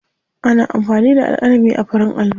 Ana amfani da alƙalami a farin allo.